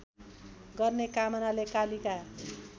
गर्ने कामनाले कालिका